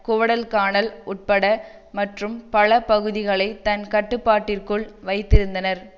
Guadalcanal உட்பட மற்றும் பல பகுதிகளை தன் கட்டுப்பாட்டிற்குள் வைத்திருந்தனர்